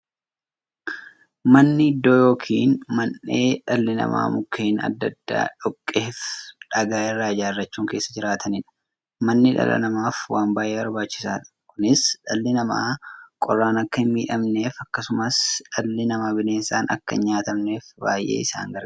Manni iddoo yookiin mandhee dhalli namaa Mukkeen adda addaa, dhoqqeefi dhagaa irraa ijaarachuun keessa jiraataniidha. Manni dhala namaaf waan baay'ee barbaachisaadha. Kunis, dhalli namaa qorraan akka hinmiidhamneefi akkasumas dhalli namaa bineensaan akka hinnyaatamneef baay'ee isaan gargaara.